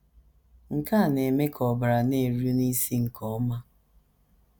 Nke a na - eme ka ọbara na - eru n’isi nke ọma.